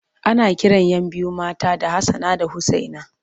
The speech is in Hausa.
Ana kiran 'yan biyu mata da Hassana da Usaina.